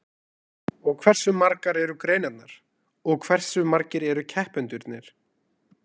Og hversu margar eru greinarnar og hversu margir eru keppendurnir?